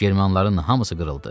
Germanların hamısı qırıldı.